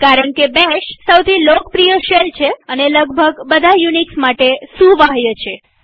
કારણકે બેશ સૌથી લોકપ્રિય શેલ છે અને લગભગ બધા યુનિક્સ માટે સુવાહ્ય છે